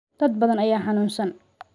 Dad badan ayaa xanuunsan